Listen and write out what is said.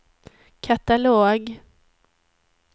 katalog